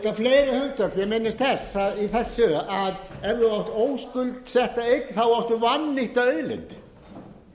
fleiri hundar sem minnast þess í þessu að ef þú átt óskuldsetta eign þá áttu vannýtta auðlind